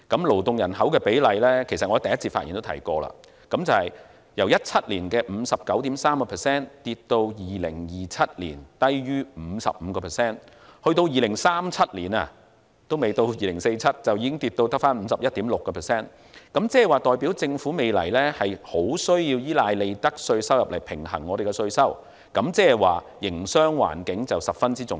勞動人口的比例——我在首次發言也提過——由2017年的 59.3% 跌至2027年低於 55%； 到了2037年，還未到2047年，已跌至 51.6%， 代表政府未來很需要依賴利得稅收入來平衡稅收，這表示營商環境十分重要。